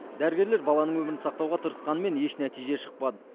дәрігерлер баланың өмірін сақтауға тырысқанымен еш нәтиже шықпады